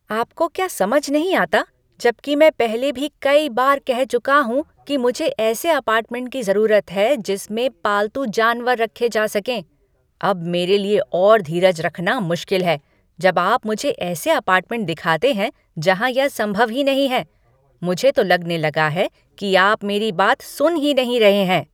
आपको क्या समझ नहीं आता जबकि मैं पहले भी कई बार कह चुका हूँ कि मुझे ऐसे अपार्टमेंट की जरूरत है जिसमें पालतू जानवर रखे जा सकें। अब मेरे लिए और धीरज रखना मुश्किल है जब आप मुझे ऐसे अपार्टमेंट दिखाते है जहाँ यह संभव ही नहीं है। मुझे तो लगने लगा है कि आप मेरी बात सुन ही नहीं रहे हैं।